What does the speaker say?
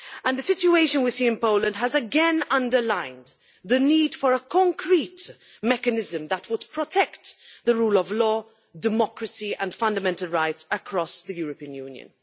The situation that we see in Poland has again underlined the need for a concrete mechanism that would protect the rule of law, democracy and fundamental rights across the European Union.